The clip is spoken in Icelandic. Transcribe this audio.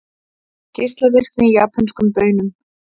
Geislavirkni í japönskum baunum